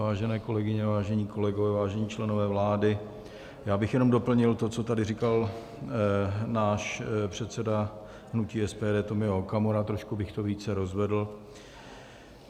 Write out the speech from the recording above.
Vážené kolegyně, vážení kolegové, vážení členové vlády, já bych jenom doplnil to, co tady říkal náš předseda hnutí SPD Tomio Okamura, trošku bych to více rozvedl.